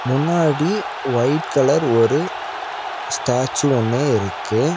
முன்னாடி white colour ஒரு statue ஒன்னு இருக்கு.